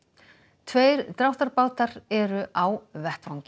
tveir dráttarbátar eru á vettvangi